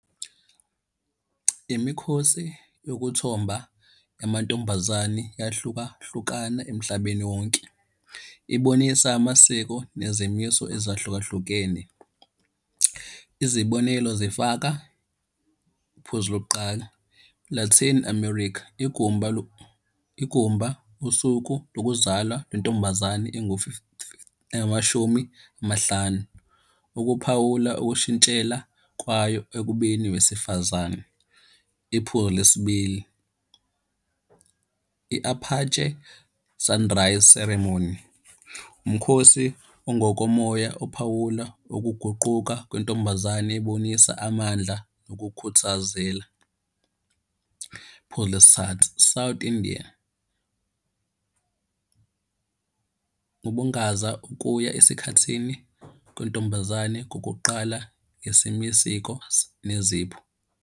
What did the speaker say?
Imikhosi yokuthomba yamantombazane iyahlukahlukana emhlabeni wonke. Ibonisa amasiko nezimiso ezahlukahlukene. Izibonelo zifaka, iphuzu lokuqala Latin America. Igumba igumba usuku lokuzalwa lentombazane engamashumi amahlanu. Ukuphawula okushintshela kwayo ekubeni owesifazane. Iphuzu lesibili, i-Apache Sunrise Ceremony, umkhosi ongokomoya ophawula ukuguquka kwentombazane ibonisa amandla okukhuthazela. Iphuzu lesithathu, South India, ubungaza ukuya esikhathini kwentombazane kokuqala isiko nezipho.